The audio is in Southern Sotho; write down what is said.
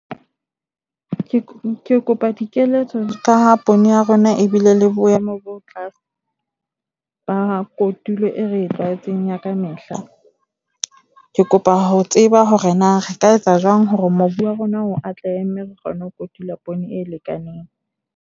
Ke kopa dikeletso ka poone ya rona ebile le boemo bo tlase ba kotulo e re e tlwaetseng ya kamehla. Ke kopa ho tseba hore na re ka etsa jwang hore mobu wa rona o atlehe mme re kgone ho kotulwa poone e lekaneng.